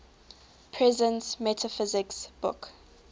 presence metaphysics book